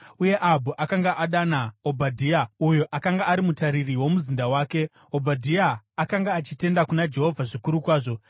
uye Ahabhu akanga adana Obhadhia uyo akanga ari mutariri womuzinda wake. (Obhadhia akanga achitenda kuna Jehovha zvikuru kwazvo.